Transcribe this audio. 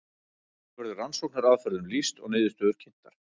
hér verður rannsóknaraðferðum lýst og niðurstöður kynntar